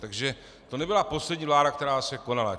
Takže to nebyla poslední vláda, která se konala.